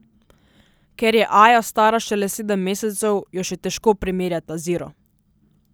Ker je Aja stara šele sedem mesecev, jo še težko primerjata z Iro.